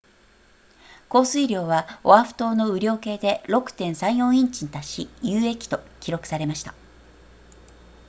降水量はオアフ島の雨量計で 6.34 インチに達し有益と記録されました